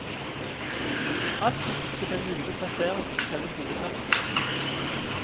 Alt med sikte på en mulig plassering i selve hovedverket.